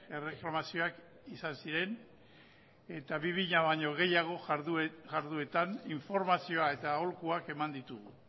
erreklamazioak izan ziren eta bi mila baino gehiago jardueratan informazioa eta aholkuak eman ditugu